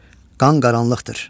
Qan qaranlıqdır.